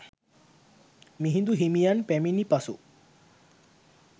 මිහිඳු හිමියන් පැමිණි පසු